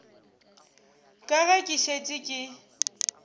ka ge ke šetše ke